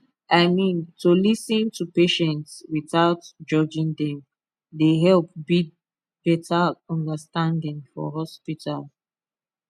i mean to lis ten to patients without judging dem dey help build better understanding for hospital